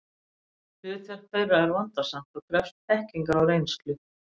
Hlutverk þeirra er vandasamt og krefst þekkingar og reynslu.